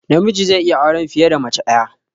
Namiji zai iya auren fiye da mace ɗaya